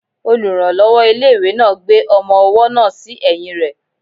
Olùrànlọ́wọ́ ilé-ìwé náà gbé ọmọ-ọwọ́ náà sí ẹ̀yìn rẹ